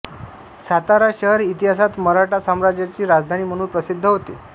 सातारा शहर इतिहासात मराठा साम्राज्याची राजधानी म्हणून प्रसिद्ध होते